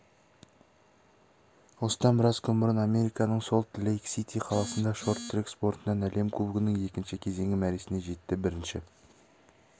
осыдан біраз күн бұрын американың солт-лейк-сити қаласында шорт-трек спортынан әлем кубогының екінші кезеңі мәресіне жетті бірінші